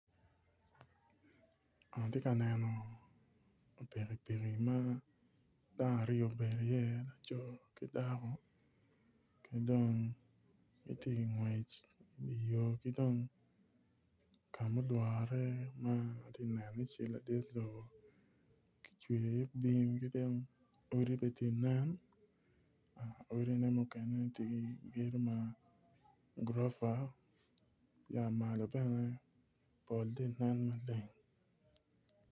Ati ka neno pikipiki ma dano aryo obedo iye laco ki dako ki dong giti ingwec idi yo ki dong ka mulwore ma ati iye cal ladit lobo ki cwe iye bim ki dong odi be ti nen odine mukene ti ki gedo ma gurofa ya malo bene pol ti nen maleng